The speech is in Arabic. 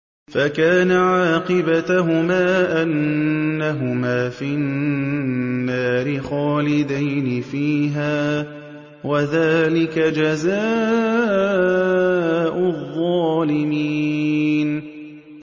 فَكَانَ عَاقِبَتَهُمَا أَنَّهُمَا فِي النَّارِ خَالِدَيْنِ فِيهَا ۚ وَذَٰلِكَ جَزَاءُ الظَّالِمِينَ